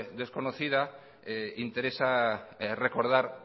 desconocida interesa recordar